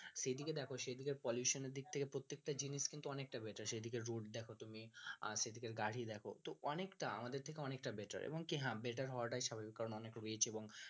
সেদিকে দেখো সেদিকে pollution এর দিক থেকে প্রত্যেক টা জিনিস কিন্তু অনেকটা better সেদিকের route দেখো তুমি আর সেদিকের গাড়ি দেখো তো অনেকটা আমাদের থেকে অনেকটা better এবং হ্যাঁ better হওয়াটাই স্বাভাবিক কারন অনেক rich এবং